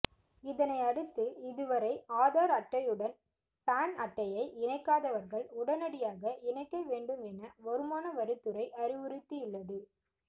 இதனை அடுத்து இதுவரை ஆதார் அட்டையுடன் பான் அட்டையை இணைக்காதவர்கள் உடனடியாக இணைக்க வேண்டும் என வருமான வரித்துறை அறிவுறுத்தியுள்ளது